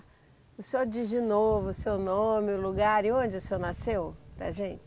O senhor diz de novo o seu nome, o lugar e onde o senhor nasceu, para a gente.